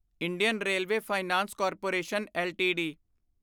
Indian railway finance corporation LTD